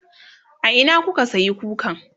a Ina kuka sayi kukan?